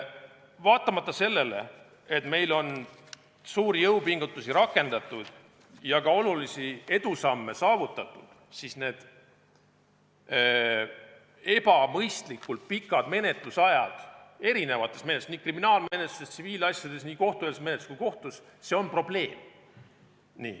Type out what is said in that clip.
Vaatamata sellele, et meil on suuri jõupingutusi rakendatud ja ka edusamme saavutatud, on ebamõistlikult pikad menetlusajad nii kriminaalmenetluses, tsiviilasjades, kohtueelses menetluses kui ka kohtus probleem.